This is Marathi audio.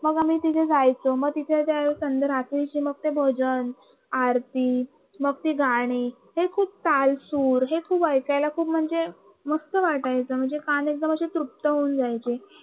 मी तिथ जायचं मग तिकडे मस्त रात्रीचे भजन आरती मग ती गाणी हे खूप ताल सूर हे खूप ऐकायला खूप म्हणजे मस्त वाटायचं म्हणजे कान असे तृप्त होऊन जायचे